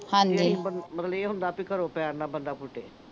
ਮਤਲਬ ਇਹ ਹੁੰਦਾ ਵੀ ਘਰੋਂ ਪੈਰ ਨਾ ਬੰਦਾ ਪੁੱਟੇ।